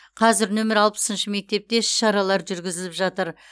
қазір нөмірі алпысыншы мектепте іс шаралар жүргізіліп жатыр